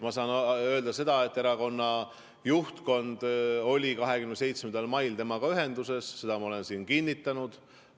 Ma saan öelda seda, et erakonna juhtkond oli 27. mail temaga ühenduses, seda ma olen siin kinnitanud.